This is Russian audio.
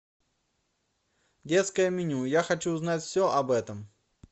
детское меню я хочу узнать все об этом